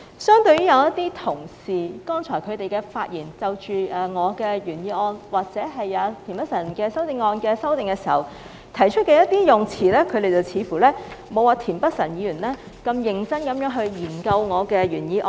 相對一些同事剛才的發言，他們就着我的原議案或田北辰議員的修正案提出的用詞，顯示他們似乎沒有田北辰議員般認真研究我的原議案。